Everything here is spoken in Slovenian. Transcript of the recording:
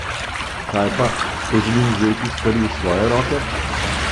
Kaj pa, ko želim vzeti stvari v svoje roke?